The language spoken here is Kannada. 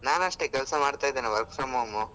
ನಾನು ಅಷ್ಟೇ ಕೆಲಸ ಮಾಡ್ತಾ ಇದೇನೆ work from home .